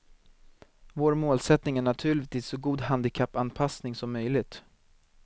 Vår målsättning är naturligtvis så god handikappanpassning som möjligt.